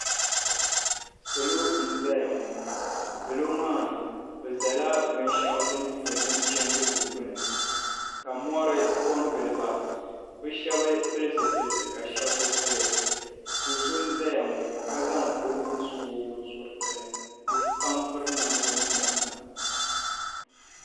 Salo n-zaya ŋɔ. Salo maa bɛ zala binshɛɣu din nyɛ binchandigu gbini ka mɔri kɔŋgili ba. Bɛ shɛba pili zipiliti ka shɛba bi pili. Do' so n-zaya ŋɔ ka zaŋ o nuhi su o binsuriti ni. Bɛ pam piri namda muna.